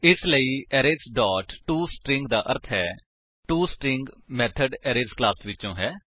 ਇਸਲਈ arrays dot to string ਦਾ ਅਰਥ ਟੋਸਟਰਿੰਗ ਮੇਥਡ ਅਰੇਜ਼ ਕਲਾਸ ਵਿਚੋ ਹੈ